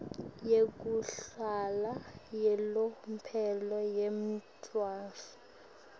yekuhlala yalomphelo yemntfwana